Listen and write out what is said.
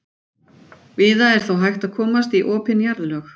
Víða er þó hægt að komast í opin jarðlög.